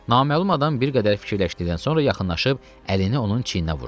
Naməlum adam bir qədər fikirləşdikdən sonra yaxınlaşıb əlini onun çiyninə vurdu.